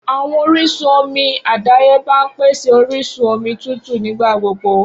Awọn orisun omi adayeba n pese orisun omi tutu nigbagbogbo.